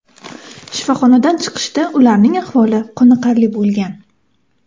Shifoxonadan chiqishda ularning ahvoli qoniqarli bo‘lgan.